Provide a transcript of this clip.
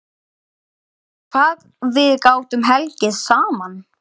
Hvað við gátum hlegið saman.